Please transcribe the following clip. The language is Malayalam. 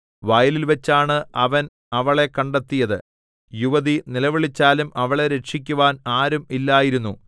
വയലിൽവച്ചാണ് അവൻ അവളെ കണ്ടെത്തിയത് യുവതി നിലവിളിച്ചാലും അവളെ രക്ഷിക്കുവാൻ ആരും ഇല്ലായിരുന്നു